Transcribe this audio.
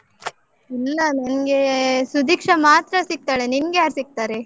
ಇಲ್ಲ ನಂಗೇ ಸುಧೀಕ್ಷಾ ಮಾತ್ರ ಸಿಗ್ತಾಳೆ. ನಿಂಗೆ ಯಾರ್ ಸಿಗ್ತಾರೆ?